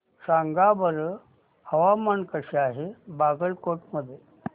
सांगा बरं हवामान कसे आहे बागलकोट मध्ये